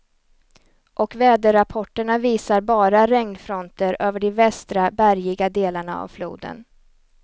Och väderrapporterna visar bara regnfronter över de västra, bergiga delarna av floden.